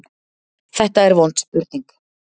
Þetta er vond spurning.